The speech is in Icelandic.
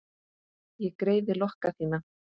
Ég greiði lokka þína.